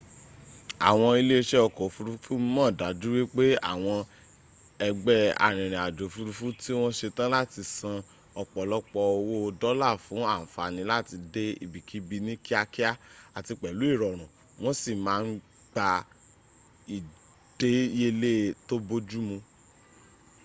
àwọn ilẹ́ isẹ́ ọkọ̀ òfurufú mọ̀ dájú wípẹ́ àwọn ẹgbẹ́ arìnrìn àjò òfurufú tí wọ́n setán láti san ọ̀pọ̀lọpọ̀ owó dọ́là fún ànfànì láti dẹ ibikíbi ní kíákíá àti pèlú ìrọ̀rùn wọn si máà n gba ìdẹ́yẹlẹ́ tó bójúmu